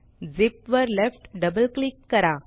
zip वर left double click करा